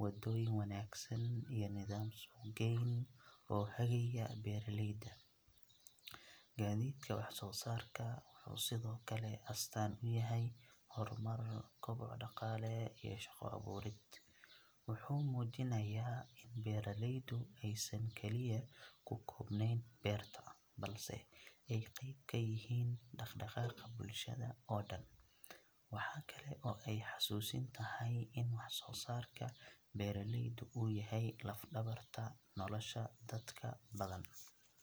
wadooyin wanaagsan iyo nidaam suuqgeyn oo hagaya beeraleyda. Gaadiidka waxsoosaarka wuxuu sidoo kale astaan u yahay horumar, koboc dhaqaale iyo shaqo abuurid. Wuxuu muujinayaa in beeraleydu aysan kaliya ku koobnayn beerta, balse ay qayb ka yihiin dhaqdhaqaaqa bulshada oo dhan. Waxa kale oo ay xasuusin tahay in waxsoosaarka beeraleydu uu yahay laf-dhabarta nolosha dadka badan.